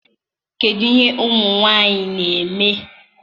kedụ ihe ụmụ nwanyị na-eme?